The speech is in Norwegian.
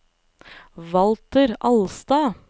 Walter Alstad